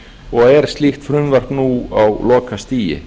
og er slíkt frumvarp nú á lokastigi